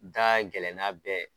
Nin ta ka gɛlɛn n'a bɛɛ ye.